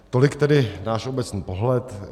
Tolik tedy náš obecný pohled.